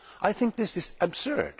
I think this is absurd.